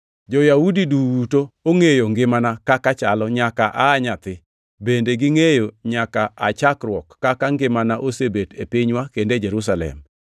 “Jo-Yahudi duto ongʼeyo ngimana kaka chalo nyaka aa e nyathi; bende gingʼeyo nyaka aa chakruok kaka ngimana osebet e pinywa kendo e Jerusalem.